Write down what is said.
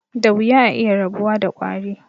Da wuya a iya rabuwa da ƙwari.